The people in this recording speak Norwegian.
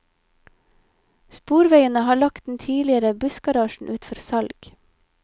Sporveiene har lagt den tidligere bussgarasjen ut for salg.